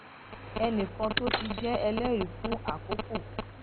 ẹnì kan tó ti jé ẹlérìí fún àkókò